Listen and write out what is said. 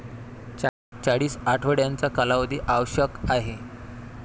चाळीस आठवड्यांचा कालावधी आवश्यक आहे.